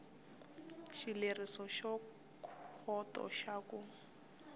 xileriso xa khoto xa ku